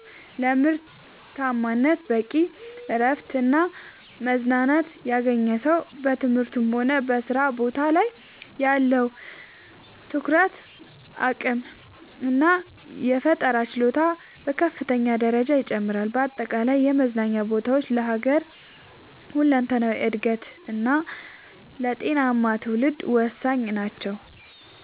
ለምርታማነት፦ በቂ እረፍትና መዝናናት ያገኘ ሰው በትምህርቱም ሆነ በሥራ ቦታው ላይ ያለው የትኩረት አቅምና የፈጠራ ችሎታ በከፍተኛ ደረጃ ይጨምራል። በአጠቃላይ የመዝናኛ ቦታዎች ለሀገር ሁለንተናዊ እድገትና ለጤናማ ትውልድ ወሳኝ ናቸው።